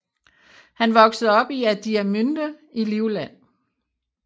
Han voksede op i Adiamünde i Livland